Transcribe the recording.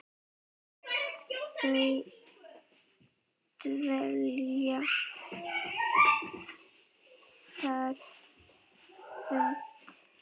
Þau dvelja þar á beit.